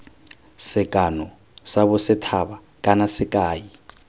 sekano sa bosethaba kana sekai